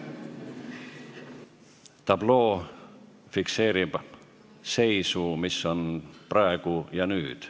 Tabloo fikseerib seisu, mis on praegu ja nüüd.